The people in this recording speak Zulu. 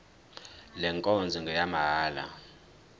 le nkonzo ngeyamahala